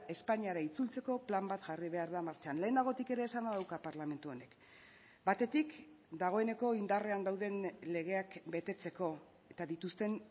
espainiara itzultzeko plan bat jarri behar da martxan lehenagotik ere esana dauka parlamentu honek batetik dagoeneko indarrean dauden legeak betetzeko eta dituzten